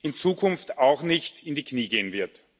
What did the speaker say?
in Zukunft auch nicht in die Knie gehen wird.